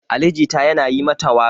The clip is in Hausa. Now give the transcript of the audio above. Ali Jita yana yi mata waƙa.